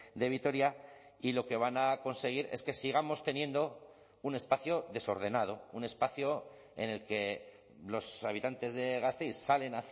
de vitoria y lo que van a conseguir es que sigamos teniendo un espacio desordenado un espacio en el que los habitantes de gasteiz salen